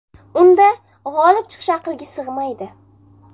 Unda g‘olib chiqish aqlga sig‘maydi.